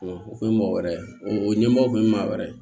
O kun ye mɔgɔ wɛrɛ o ɲɛmɔgɔ tun ye maa wɛrɛ ye